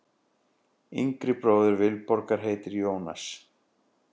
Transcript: Yngri bróðir Vilborgar heitir Jónas.